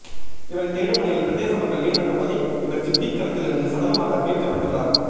இவரை தேடும்பணியில் பிரதேச மக்கள் ஈடுபட்டபோதே இவர் சிப்பிக்குளத்திலிருந்து சடலமாக மீட்கப்பட்டுள்ளார்